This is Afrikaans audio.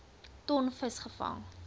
ton vis gevang